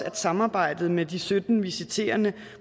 at samarbejdet med de sytten visiterende